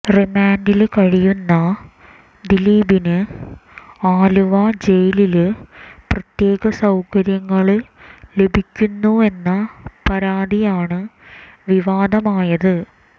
റിമാന്റില് കഴിയുന്ന ദിലീപിന് ആലുവ ജയിലില് പ്രത്യേക സൌകര്യങ്ങള് ലഭിക്കുന്നുവെന്ന പരാതിയാണ് വിവാദമായത്